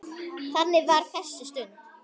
Þannig var þessi stund.